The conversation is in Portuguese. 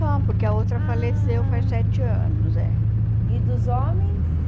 Só, porque a outra faleceu faz sete anos, é. E dos homens?